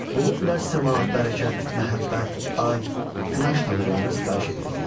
Luluplər səma, bərəkət, məhəbbət, ay, günəş tanrılarına sitayiş edirdilər.